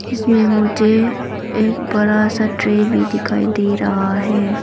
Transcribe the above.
इसमें मुझे एक बड़ा सा ट्रे भी दिखाई दे रहा है।